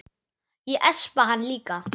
Ég espa hana líka.